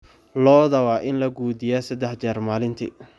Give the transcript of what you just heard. Lo'da waa in la quudiyaa saddex jeer maalintii.